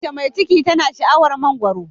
Mace mai ciki tana sha'awar mangwaro.